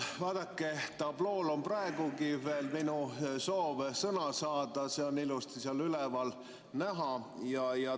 Vaadake, tablool on praegugi veel minu soov sõna saada, see on ilusti seal näha.